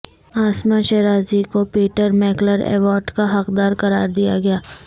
عاصمہ شیرازی کو Peter Mackler award کا حقدار قرار دیا گیا